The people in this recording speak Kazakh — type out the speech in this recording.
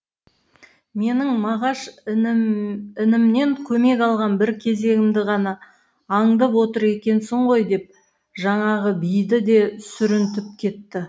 менің мағаш інімнен көмек алған бір кезегімді ғана аңдып отыр екенсің ғой деп жаңағы биді де сүрінтіп кетті